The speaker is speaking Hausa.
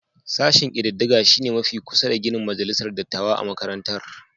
Sashen kididdiga shi ne mafi kusa da ginin majalisar dattawa a makarantar